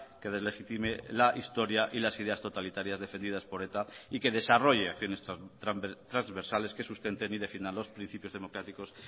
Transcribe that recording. que deslegitime la historia y las ideas totalitarias defendidas por eta y que desarrolle acciones transversales que sustenten y definan los principios democráticos